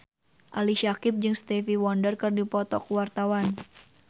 Ali Syakieb jeung Stevie Wonder keur dipoto ku wartawan